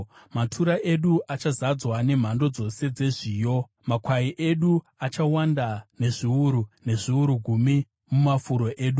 Matura edu achazadzwa nemhando dzose dzezviyo. Makwai edu achawanda nezviuru, nezviuru gumi mumafuro edu;